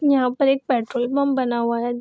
यहाँ पर एक पेट्रोल पंप बना हुआ है।